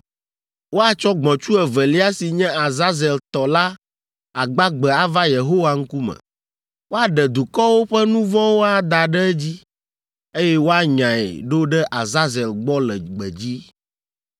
Woatsɔ gbɔ̃tsu evelia si nye Azazel tɔ la agbagbe ava Yehowa ŋkume. Woaɖe dukɔwo ƒe nu vɔ̃wo ada ɖe edzi, eye woanyae ɖo ɖe Azazel gbɔ le gbedzi.